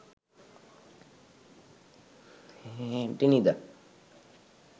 Tenida